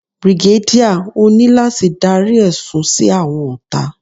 Brigadier, o ni lati darí ẹsun si awọn ọta.